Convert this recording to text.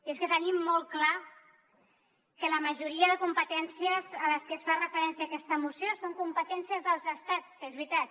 i és que tenim molt clar que la majoria de competències a les que es fa referència en aquesta moció són competències dels estats és veritat